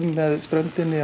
með ströndinni